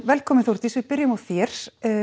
velkomin Þórdís við byrjum á þér